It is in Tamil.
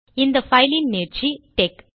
இந்த பைலின் நீட்சி டெக்